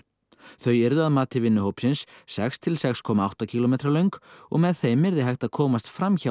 þau yrðu að mati vinnuhópsins sex til sex komma átta kílómetra löng og með þeim yrði hægt að komast fram hjá